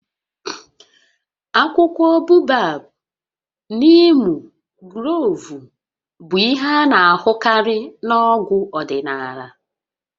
Akwụkwọ Bobab, niimu, gloovu bụ ihe a na-ahụkarị na-ọgwụ ọdịnala